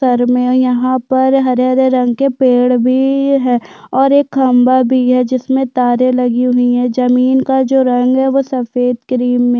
घर मे यहाँ पर हरे-हरे रंग के पेड़ भी है और एक खम्भा भी है जिसमे तारे भी लगे हुई है जमीन का जो रंग है वो सफ़ेद क्रीम मे--